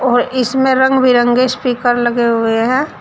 और इसमें रंग बिरंगे स्पीकर लगे हुए हैं।